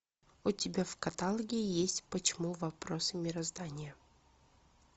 у тебя в каталоге есть почему вопросы мироздания